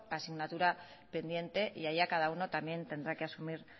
asignatura pendiente y allá cada uno también tendrá que asumir